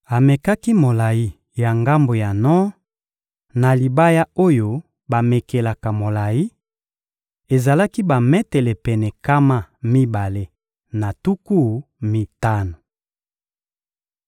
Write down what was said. Amekaki molayi ya ngambo ya nor na libaya oyo bamekelaka molayi: ezalaki bametele pene nkama mibale na tuku mitano.